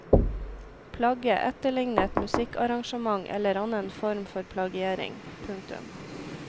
Plagge etterligne et musikkarrangement eller annen form for plagiering. punktum